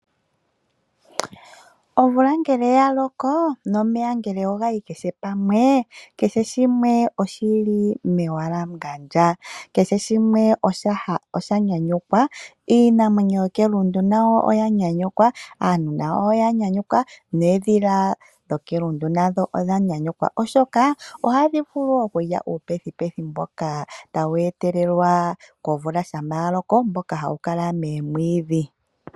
Omvula ngele ya loko, nomeya ngele oga yi kehe pamwe, kehe shimwe oshi li mewalangandjo, kehe shimwe osha nyanyukwa , iinamwenyo yokelundu nayo oya nyanyukwa, aantu nayo oya nyanyukwa, noondhila dhokelundu odha nyanyukwa oshoka ohadhi vulu okulya uupethipethi mboka hawu etelelwa komvula shampa ya loko mboka hawu kala moomwiidhi.